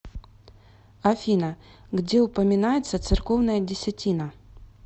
афина где упоминается церковная десятина